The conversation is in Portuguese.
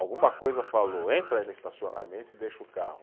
Alguma coisa falou, entra aí no estacionamento e deixa o carro.